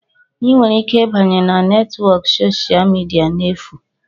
Ị nwere ike ịbanye na netwọk soshal midia n'efu.